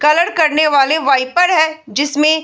colour करने वाले wiper है जिसमें --